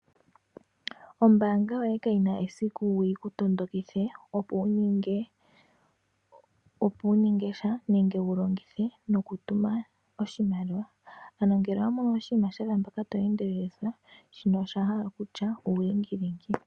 Ombaanga yoye kayina esiku yiku tondokithe opo wu ninge sha nenge wu longithe noku tuma oshimaliwa ano ngele owamono oshiima shafa mpaka to endelelithwa shino osha hala okutya uulingilingi.